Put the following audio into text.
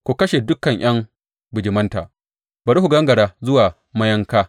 Ku kashe dukan ’yan bijimanta bari su gangara zuwa mayanka!